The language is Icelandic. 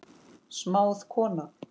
Smáð kona